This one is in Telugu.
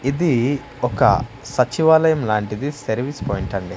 ఇది ఒక సచివాలయం లాంటిది సర్వీస్ పాయింట్ అండి.